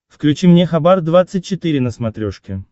включи мне хабар двадцать четыре на смотрешке